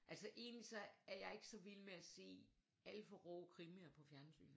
Altså egentligt så er jeg ikke så vild med at se alt for rå krimier på fjernsynet